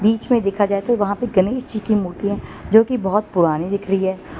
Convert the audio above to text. बीच में देखा जाए तो वहां पर गणेश जी की मूर्तियां जो की बहुत पुरानी दिख रही है।